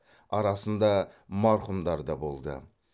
арасында марқұмдар да болды